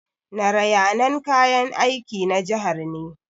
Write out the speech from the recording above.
Narayanan kayan aiki na jihar ne.